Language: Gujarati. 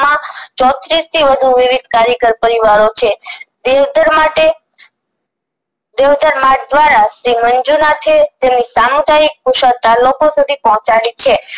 ચોત્રીસ થી વધુ વિવિધ કાર્યકર પરિવારો છે દેવધર્મરતે દેવધર્મરત દ્વારા શ્રી મંજૂનાથે તેમની સામુદાયિકતા કુશળતા લોકો સુધી પહોંચાડી છે